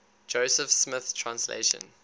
joseph smith translation